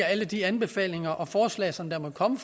alle de anbefalinger og forslag som der måtte komme